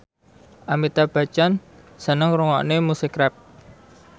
Amitabh Bachchan seneng ngrungokne musik rap